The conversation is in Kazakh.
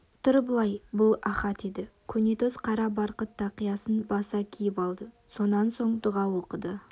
тұр былай бұл ахат еді көнетоз қара барқыт тақиясын баса киіп алды сонан соң дұға оқыды